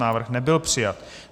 Návrh nebyl přijat.